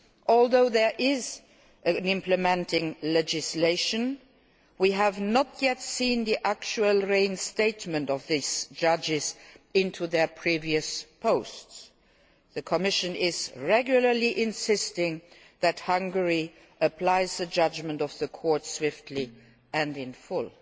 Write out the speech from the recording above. Although there is implementing legislation, we have not yet seen the actual reinstatement of these judges to their previous posts. The Commission regularly insists that Hungary apply the judgment of the Court swiftly and in